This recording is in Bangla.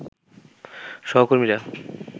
সহকর্মীরা